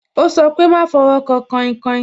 Ó sọ pé "máa fọwọ́ kan kainkain"